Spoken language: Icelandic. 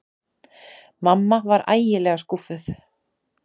Mamma var ægilega skúffuð.